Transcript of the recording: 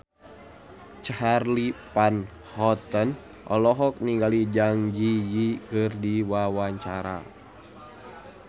Charly Van Houten olohok ningali Zang Zi Yi keur diwawancara